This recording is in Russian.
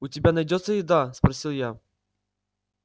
у тебя найдётся еда спросил я